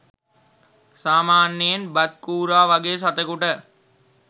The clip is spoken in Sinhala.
සාමාන්‍යයෙන් බත් කූරා වගේ සතෙකුට